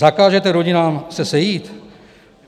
Zakážete rodinám se sejít?